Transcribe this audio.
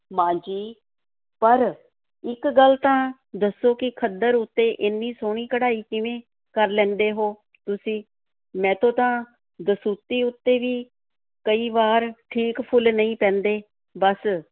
ਮਾਂ ਜੀ, ਪਰ ਇੱਕ ਗੱਲ ਤਾਂ ਦੱਸੋ ਕਿ ਖੱਦਰ ਉੱਤੇ ਏਨੀ ਸੋਹਣੀ ਕਢਾਈ ਕਿਵੇਂ ਕਰ ਲੈਂਦੇ ਹੋ ਤੁਸੀਂ? ਮੈਥੋਂ ਤਾਂ ਦਸੂਤੀ ਉੱਤੇ ਵੀ ਕਈ ਵਾਰ ਠੀਕ ਫੁੱਲ ਨਹੀਂ ਪੈਂਦੇ ਬਸ,